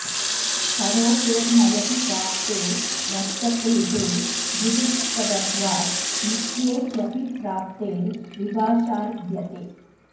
करोतेर् ण्यति प्राप्ते वर्षतेः ऋदुपधत्वात् नित्ये क्यपि प्राप्ते विभाषार्भ्यते